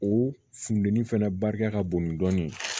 O funtɛni fɛnɛ barika ka bon ni dɔɔnin